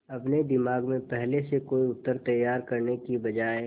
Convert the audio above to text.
अपने दिमाग में पहले से कोई उत्तर तैयार करने की बजाय